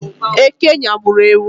Eke nyagburu ewu